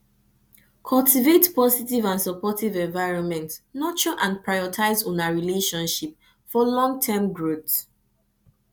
cultivate positive and supportive environment nurture and prioritize una relationship for longterm growth